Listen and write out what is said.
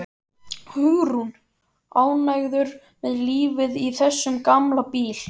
Hugrún: Ánægður með lífið í þessum gamla bíl?